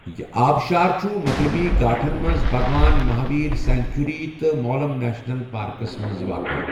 یہٕ آبشار چُھ مَغرِبی گھاٹھن منز بَھگوان مَہاویر سینٛکچُری تہٕ مولَم نیشنل پاركس منز واقع ۔